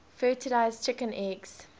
fertilized chicken eggs